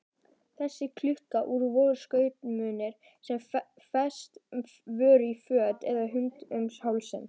Þessi klukku-úr voru skrautmunir sem fest voru í föt eða hengd um hálsinn.